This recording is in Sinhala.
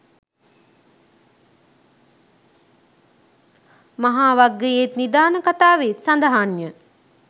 මහාවග්ගයේත්, නිදාන කථාවේත් සඳහන්ය.